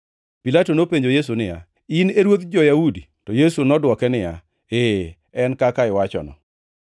Pilato nopenjo Yesu niya, “In e ruodh jo-Yahudi?” To Yesu nodwoke niya, “Ee, en kaka iwachono.”